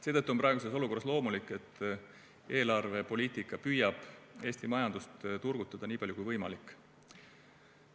Seetõttu on praeguses olukorras loomulik, et eelarvepoliitika püüab Eesti majandust turgutada, niipalju kui võimalik.